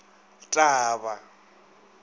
t t a ba a